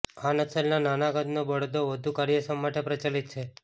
આ નસલના નાના કદના બળદો વધુ કાર્યક્ષમ માટે પ્રચલિત છે